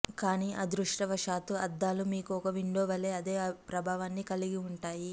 కానీ అదృష్టవశాత్తు అద్దాలు మీకు ఒక విండో వలె అదే ప్రభావాన్ని కలిగి ఉంటాయి